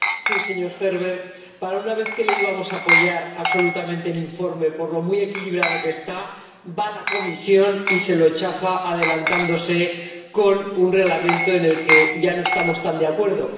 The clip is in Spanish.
Sí, señor Ferber, para una vez que le íbamos a apoyar absolutamente el informe, por lo muy equilibrado que está, va la Comisión y se lo chafa, adelantándose con un Reglamento con el que ya no estamos tan de acuerdo.